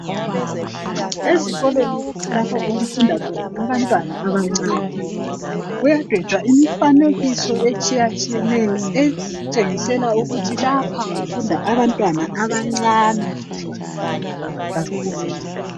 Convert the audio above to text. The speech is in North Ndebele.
Ezikolweni lapho okufunda khona abantwana abancane kuyadwetshwa imifanekiso etshiya tshiyeneyo etshengisela ukuthi lapha kufunda abantwana abancane kakhulu.